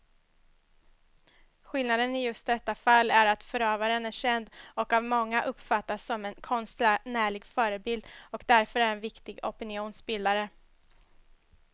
Skillnaden i just detta fall är att förövaren är känd och av många uppfattas som en konstnärlig förebild och därför är en viktig opinionsbildare.